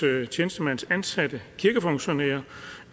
tjenestemandsansatte kirkefunktionærer